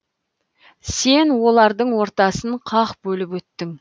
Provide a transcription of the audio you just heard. сен олардың ортасын қақ бөліп өттің